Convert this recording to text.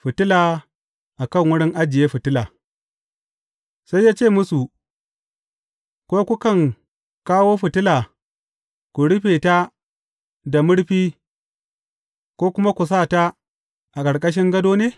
Fitila a kan wurin ajiye fitila Sai ya ce musu, Ko kukan kawo fitila ku rufe ta da murfi ko kuma ku sa ta a ƙarƙashin gado ne?